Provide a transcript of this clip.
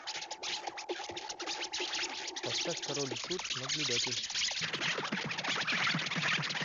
поставь король и шут наблюдатель